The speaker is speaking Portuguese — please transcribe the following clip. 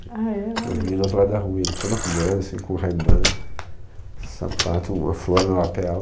Eu vi no outro lado da rua ele todo arrumando, com o rayban sapato, uma flor na lapela.